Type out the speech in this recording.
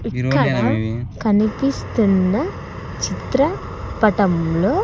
ఇక్కడ కనిపిస్తున్న చిత్ర పటం లో--